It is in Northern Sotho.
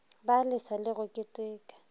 ba lesa go le keteka